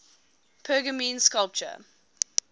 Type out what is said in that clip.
pergamene sculpture